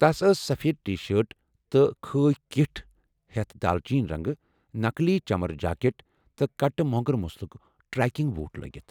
تس ٲس سفید ٹی شٲرٹ تہٕ خٲکۍ کِٹھ ، ہیتھ دالچیٖن رنٛگہٕ ،نقلی چمرٕ جاکٹ تہٕ كٹہٕ مو٘نگر مُسلُك تڑٛٮ۪کنٛگ بوٹھ لٲگِتھ ۔